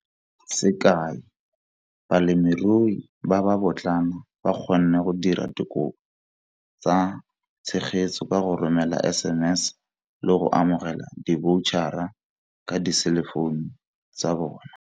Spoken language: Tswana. Sekai, balemirui ba ba botlana ba kgonne go dira dikopo tsa tshegetso ka go romela SMS le go amogela diboutjahara ka diselefounu tsa bona.